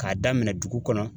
K'a daminɛ dugu kɔnɔ.